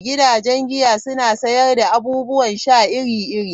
Gidajen giya suna sayar da abubuwan sha iri-iri.